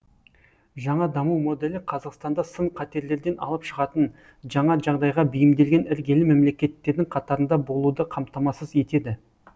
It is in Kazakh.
жаңа даму моделі қазақстанды сын қатерлерден алып шығатын жаңа жағдайға бейімделген іргелі мемлекеттердің қатарында болуды қамтамасыз етеді